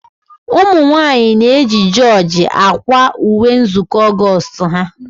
Ụmụnwanyị na eji jorji akwa ùwé nzukọ Augoostu ha.